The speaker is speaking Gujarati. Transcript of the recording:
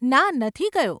ના, નથી ગયો.